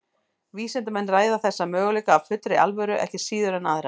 Vísindamenn ræða þessa möguleika af fullri alvöru ekki síður en aðra.